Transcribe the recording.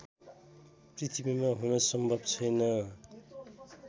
पृथ्वीमा हुन सम्भव छैन